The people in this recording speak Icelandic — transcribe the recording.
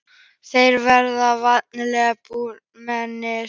Þeir verða væntanlega byrjunarliðsmenn?